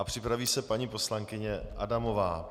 A připraví se paní poslankyně Adamová.